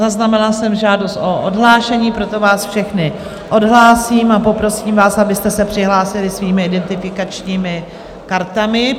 Zaznamenala jsem žádost o odhlášení, proto vás všechny odhlásím a poprosím vás, abyste se přihlásili svými identifikačními kartami.